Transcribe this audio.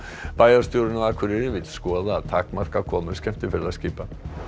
bæjarstjórinn á Akureyri vill skoða að takmarka komur skemmtiferðaskipa